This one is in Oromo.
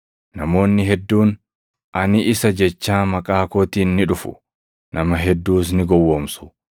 Namoonni hedduun, ‘Ani isa’ jechaa maqaa kootiin ni dhufu; nama hedduus ni gowwoomsu.